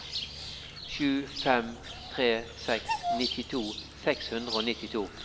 sju fem tre seks nittito seks hundre og nittito